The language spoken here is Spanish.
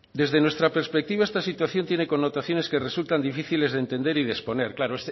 desde nuestra perspectiva esta situación tiene connotaciones que resultan difíciles de entender y de exponer claro